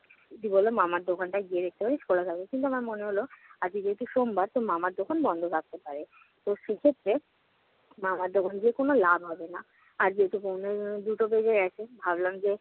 দিদি বলল, মামার দোকানটায় গিয়ে দেখতে পারি খোলা থাকবে। কিন্তু আমার মনে হলো আজকে যেহেতু সোমবার তো মামার দোকান বন্ধ থাকতে পারে। তো সেক্ষেত্রে মামার দোকান গিয়ে কোন লাভ হবে না। আর যেহেতু দুটো বাজে এখন, ভাবলাম যে